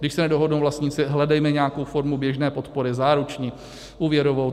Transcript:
Když se nedohodnou vlastníci, hledejme nějakou formu běžné podpory, záruční, úvěrovou.